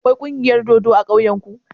Akwai kungiyar dodo a ƙauyen ku?